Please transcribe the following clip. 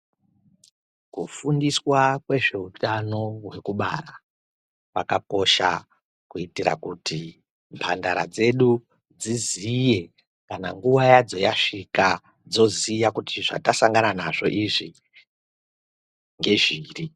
Ku fundiswa kwe zveutano hweku bara kwaka kosha kuitira kuti mbandara dzedu dziziye kana nguva yadzo yasvika dzoziya kuti zvata sangana nazvo izvi nge zviri.